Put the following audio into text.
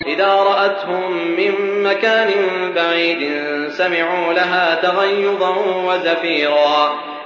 إِذَا رَأَتْهُم مِّن مَّكَانٍ بَعِيدٍ سَمِعُوا لَهَا تَغَيُّظًا وَزَفِيرًا